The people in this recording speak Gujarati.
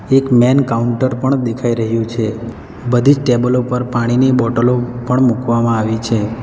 એક મેન કાઉન્ટર પણ દેખાઈ રહ્યું છે બધી જ ટેબલ ઉપર પાણીની બોટલો પણ મૂકવામાં આવી છે.